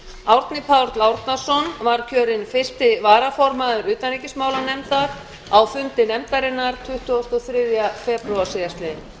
árni páll árnason var kjörinn eins varaformaður utanríkismálanefndar á fundi nefndarinnar tuttugasta og þriðja febrúar síðastliðinn